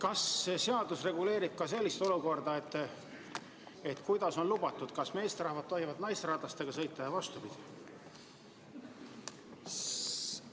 Kas see seadus reguleerib ka sellist olukorda: kas meesterahvad tohivad sõita naisteratastega ja vastupidi?